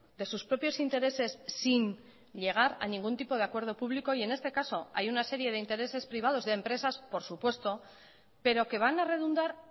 de sus propios intereses sin llegar a ningún tipo de acuerdo público y en este caso hay una serie de intereses privados de empresas por supuesto pero que van a redundar